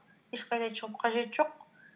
ешқайда шығып қажеті жоқ